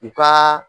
I ka